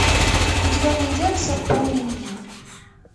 у тебя найдется помни меня